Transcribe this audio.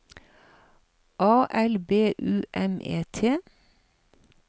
A L B U M E T